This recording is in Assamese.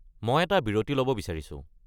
মই এটা বিৰতি ল’ব বিচাৰিছো।